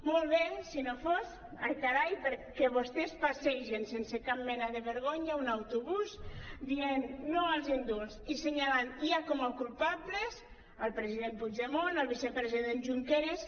molt bé si no fos ai carai que vostès passegen sense cap mena de vergonya un autobús dient no als indults i assenyalant ja com a culpables el president puigdemont el vicepresident junqueras